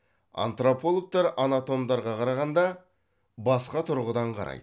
антропологтар анатомдарға қарағанда басқа тұрғыдан қарайды